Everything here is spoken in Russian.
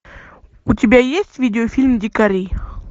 у тебя есть видеофильм дикари